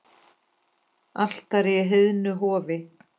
Altari í heiðnu hofi.